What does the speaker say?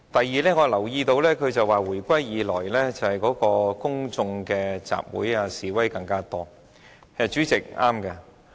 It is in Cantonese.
此外，我留意到他表示回歸以來公眾集會和示威越來越多，他說得對。